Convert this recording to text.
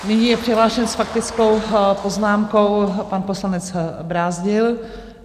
Nyní je přihlášen s faktickou poznámkou pan poslanec Brázdil.